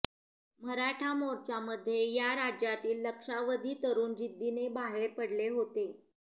मराठा मोर्चामध्ये या राज्यातील लक्षावधी तरुण जिद्दीने बाहेर पडले होते